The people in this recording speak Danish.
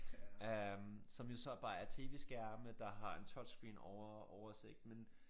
Øh som jo så bare er tv-skærme der har en touch screen over oversigt men